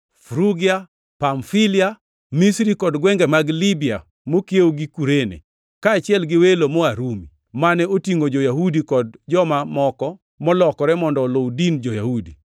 Frugia, Pamfilia, Misri kod gwenge mag Libya mokiewo gi Kurene; kaachiel gi welo moa Rumi, mane otingʼo jo-Yahudi kod joma moko molokore mondo oluw din jo-Yahudi.